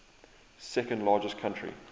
second largest country